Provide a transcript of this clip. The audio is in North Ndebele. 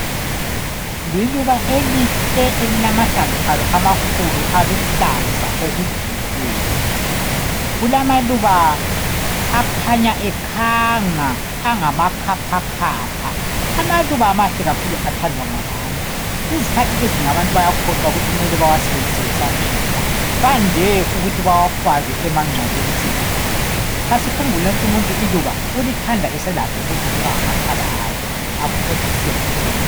liluba elihle elilamahlamvu alo amakhukhulu aluhlaza okujiyileyo kulamaluba akhanya ekhanga angama khaphakhapha amaluba mahle kakhulu athandwa ngabantu izikhathi ezinengi abantu bayakhohlwa ukuthi kumele bawasebenzise besaphila bande ukuthi bawafake emangcwabeni sebefile asikhumbuleni ukuthi umuntu iluba ulithanda esalakho ukulinuka ngamakhala akhe akholise lowo muntu